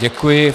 Děkuji.